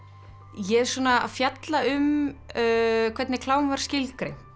ég er svona að fjalla um hvernig klám var skilgreint